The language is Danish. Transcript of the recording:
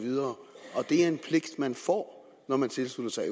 og at det er en pligt man får når man tilslutter sig